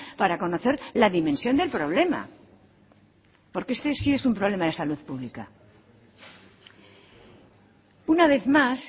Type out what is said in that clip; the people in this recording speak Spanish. para conocer la dimensión del problema porque este sí es un problema de salud pública una vez más